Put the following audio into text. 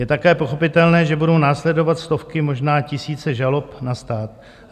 Je také pochopitelné, že budou následovat stovky, možná tisíce žalob na stát.